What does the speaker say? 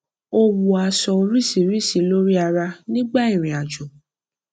ó wọ aṣọ oríṣìíríṣìí lórí ara nígbà ìrìnàjò